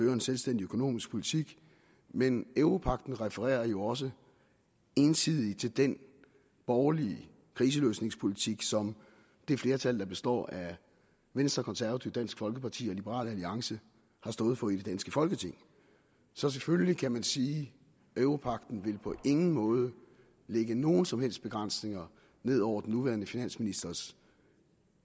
en selvstændig økonomisk politik men europagten refererer jo også ensidigt til den borgerlige kriseløsningspolitik som det flertal der består af venstre konservative dansk folkeparti og liberal alliance har stået for i det danske folketing så selvfølgelig kan man sige at europagten på ingen måde vil lægge nogen som helst begrænsninger ned over den nuværende finansministers